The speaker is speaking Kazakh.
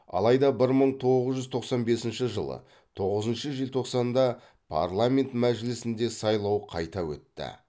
алайда бір мың тоғыз жүз тоқсан бесінші жылы тоғызыншы желтоқсанда парламент мәжілісінде сайлау қайта өтті